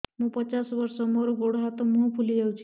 ମୁ ପଚାଶ ବର୍ଷ ମୋର ଗୋଡ ହାତ ମୁହଁ ଫୁଲି ଯାଉଛି